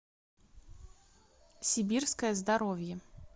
сибирское здоровье